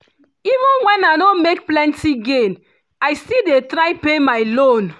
even when i no make plenty gain i still dey try pay my loan